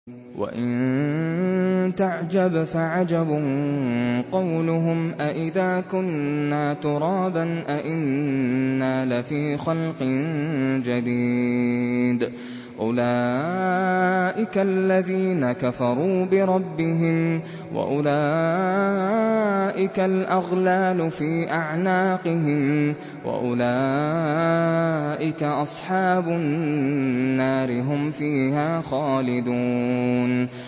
۞ وَإِن تَعْجَبْ فَعَجَبٌ قَوْلُهُمْ أَإِذَا كُنَّا تُرَابًا أَإِنَّا لَفِي خَلْقٍ جَدِيدٍ ۗ أُولَٰئِكَ الَّذِينَ كَفَرُوا بِرَبِّهِمْ ۖ وَأُولَٰئِكَ الْأَغْلَالُ فِي أَعْنَاقِهِمْ ۖ وَأُولَٰئِكَ أَصْحَابُ النَّارِ ۖ هُمْ فِيهَا خَالِدُونَ